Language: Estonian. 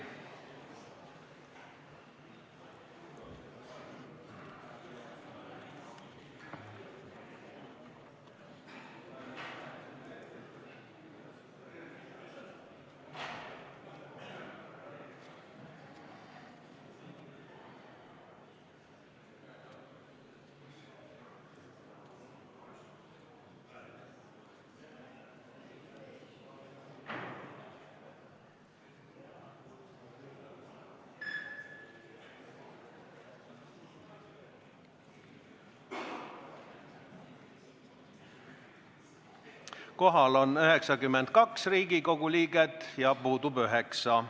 Kohaloleku kontroll Kohal on 92 Riigikogu liiget ja puudub 9.